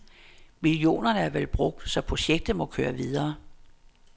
Millionerne er vel brugt, så projektet må køre videre.